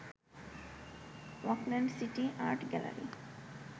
Auckland city art gallery